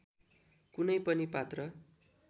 कुनै पनि पात्र